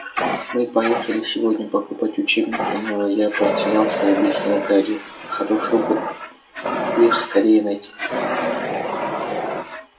мы поехали сегодня покупать учебники но я потерялся объяснил гарри хорошо бы их скорее найти